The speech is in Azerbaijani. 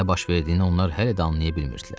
Nə baş verdiyini onlar hələ də anlaya bilmirdilər.